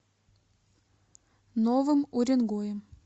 новым уренгоем